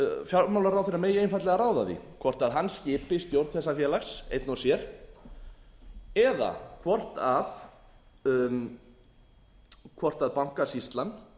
fjármálaráðherra megi einfaldlega ráða því hvort hann skipi stjórn þessa félags einn og sér eða hvort bankasýslan